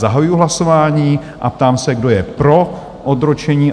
Zahajuji hlasování a ptám se, kdo je pro odročení?